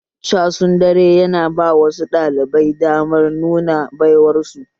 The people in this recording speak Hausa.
Casun dare yana ba wasu ɗalibai damar nuna baiwar su